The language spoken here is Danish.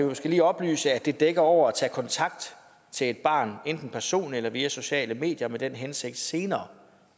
måske lige oplyse at det dækker over at tage kontakt til et barn enten personligt eller via sociale medier med den hensigt senere